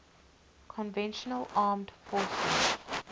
conventional armed forces